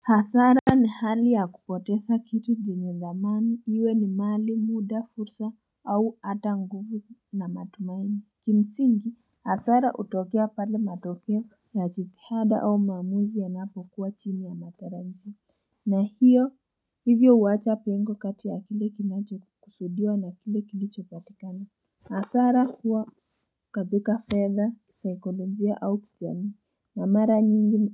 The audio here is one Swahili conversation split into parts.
Hasara ni hali ya kupoteza kitu njenye zamani iwe ni mali muda fursa au ata nguvu na matumaini Kimsingi hasara utokea pale matokeo ya chikada au maamuzi ya napo kuwa chini ya mataranzi na hiyo hivyo uwacha pengo kati ya file kimacho kusudia na file kilicho patikana Hasara huwa kathika feather psycholojia au kijami na mara nyingi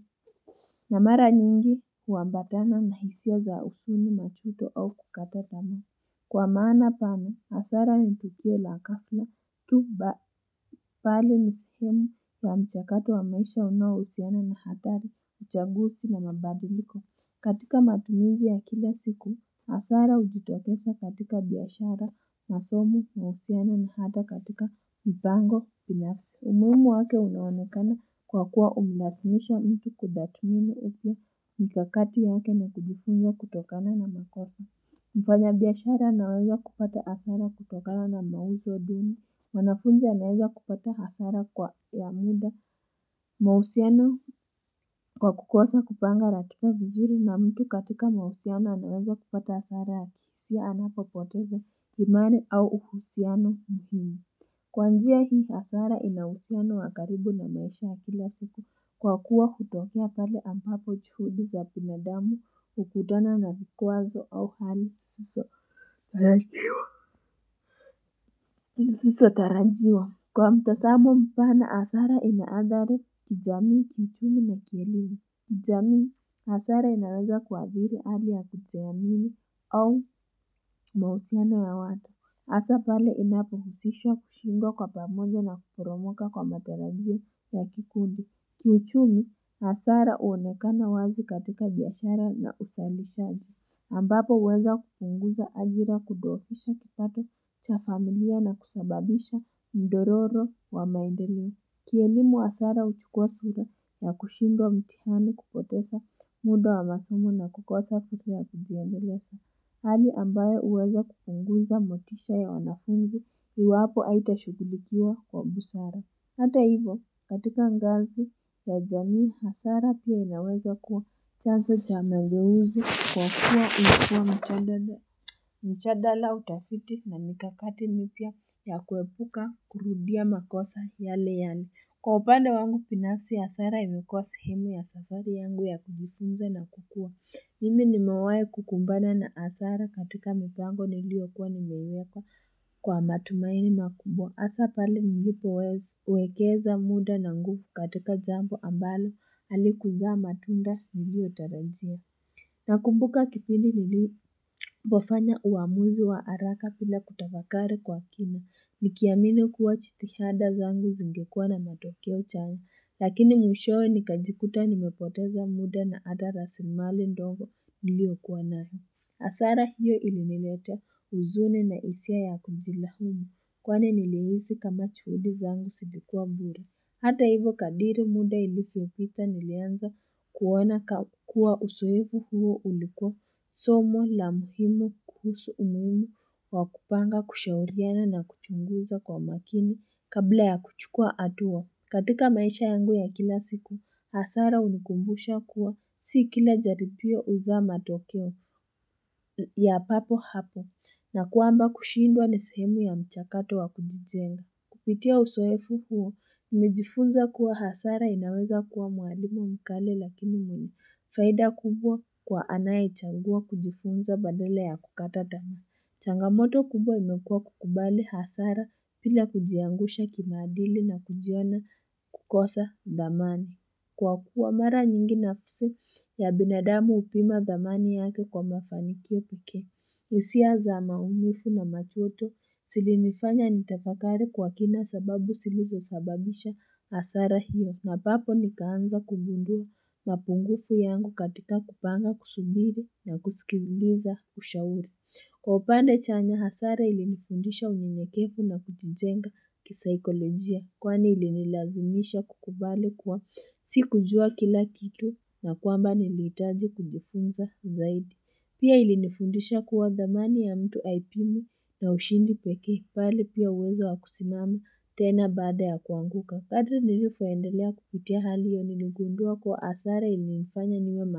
na mara nyingi uambatana na hisia za usuni machuto au kukatatama. Kwa maana pami, asara nitukie la kafla, tuba, pali nisihemu wa mchakatu wa maisha unua usiana na hatari, uchagusi na mababiliko. Katika matumiji ya kila siku, asara ujitotesa katika biyashara, masomu na usiana na hata katika mpango, pinyafsi. Umumu wake unawanekana kwa kuwa umilasimishwa mtu kudatumini upia mikakati yake na kujifunjo kutokana na makosa. Mfanya biyashara naweza kupata hasara kutokana na mauzo duni. Wanafunja naweza kupata hasara kwa ya muda. Mahusiano kwa kukosa kupanga ratupa vizuri na mtu katika mahusiano naweza kupata hasara atisia anapo poteza kimari au uhusiano mhimi. Kwa njia hii asara inawusia na wakaribu na naesha hafila siku kwa kuwa kutofia pale ampapo chuhudi za binadamu ukudona na vikuanzo au hali siso tarajiwa. Kwa mtasamo mpana asara inaadharu kijamii, kichini na kielini. Kijamii asara inaweza kwa hiri ali ya kijamii au mausia na ya wada. Asapale inapo husishwa kushingo kwa pamoja na kukuromoka kwa materadio ya kikundi. Kiuchumi, asara uonekana wazi katika biyashara na usalisha aji. Ambapo weza kupunguza ajira kudorusha kipato cha familia na kusababisha mdororo wa maindelio. Kienimu asara uchukua sura na kushingo mtihani kupotesa muda wa masomo na kukosa puti ya kijendelesa. Hali ambayo uweza kuunguza motisha ya wanafunzi hiwapo aitashukilikiwa kwa busara. Hata hivyo, katika ngazi ya janii hasara pia inaweza kuwa chanso cha mangewuzi kwa kuwa ukua mchadala. Mchadala utafiti na mikakati nipia ya kuepuka kurudia makosa ya leyani. Kwa upande wangu binafsi ya hasara imekuwa sahari yangu ya kujifunza na kukua. Mimi nimawai kukumbana na asara katika mpango nilio kuwa nimeweka kwa matumaini makubo. Asapali njipo wekeza muda na nguhu katika jambu ambalo alikuzaa matunda nilio tarajia. Nakumbuka kipini nilio pofanya uamuzi wa haraka pila kutavakare kwa kine. Nikiamine kuwa chiti hada zangu zingekua na matokeo chani. Lakini mwishowe nikajikuta nimepoteza muda na ada rasimali ndongo. Niliokuwa nani asara hiyo ili nileta uzune na hisia ya kumzilahumu kwane nilioizi kama chuhudi zangu silikuwa mburi hata hivyo kadiri muda ili fiopita nilianza kuwana kuwa usoevu huo ulikuwa somo la muhimu kuhusu umehimu wa kupanga kushauriana na kuchunguza kwa makini kabla ya kuchukua hatua katika maisha yangu ya kila siku, hasara unikumbusha kuwa si kila jaripio uza matokeo ya papo hapo na kuamba kushindwa neshemu ya mchakato wa kujijenga. Kupitia usoefu huo, mjifunza kuwa hasara inaweza kuwa muadimo mkale lakini munu faida kubwa kwa anaye changua kujifunza badala ya kukata dama. Changamoto kubwa imekua kukubali hasara pila kujiangusha kimaadili na kujiona kukosa damani. Kwa kuwa mara nyingi nafuse ya binadamu upima damani yake kwa mafanikio puke. Isia za maumifu na machoto silinifanya nitafakari kwa kina sababu silizo sababisha hasara hiyo. Napapo nikaanza kubundua mapungufu yangu katika kupanga kusubiri na kusikibuliza ushauri. Kwa upande chanya hasara ili nifundisha unyekefu na kujijenga kisaikolojia kwane ili nilazimisha kukubale kuwa si kujua kila kitu na kwamba nilitaji kujifunza zaidi. Pia ili nifundisha kuwa dhamani ya mtu aipimu na ushindi peki pali pia uweza wa kusimame tena bada ya kuanguka. Kada nilifuwaendelea kupitia hali yoniligundua kwa hasara ili nifanya niwe makini.